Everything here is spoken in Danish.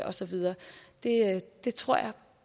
og så videre det tror jeg